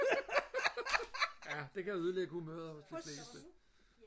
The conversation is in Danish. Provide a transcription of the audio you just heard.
ja det kan ødelægge humøret hos de fleste